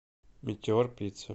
метеор пицца